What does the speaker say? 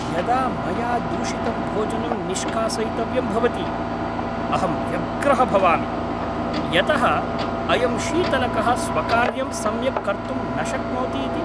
यदा मया दूषितं भोजनं निष्कासयितव्यं भवति, अहं व्यग्रः भवामि यतः अयं शीतलकः स्वकार्यं सम्यक् कर्तुं न शक्नोति इति!